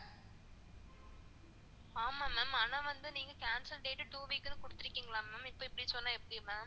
ஆமா ma'am அனா வந்து நீங்க cancel date two week குள்ள குடுத்துருகீங்கல ma'am இப்போ இப்படி சொன்னா எப்படி ma'am